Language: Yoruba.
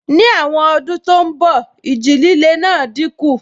Ní àwọn ọdún tó n bọ̀, ìjì líle náà dínkù